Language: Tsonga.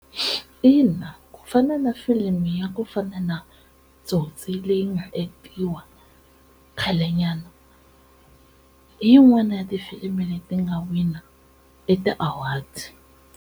Ina ku fana na film ya ku fana na Tsotsi leyi nga act-iwa khale nyana hi yin'wana ya tifilimi leti nga wina e ti-awards.